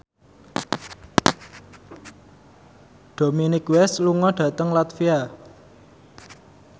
Dominic West lunga dhateng latvia